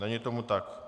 Není tomu tak.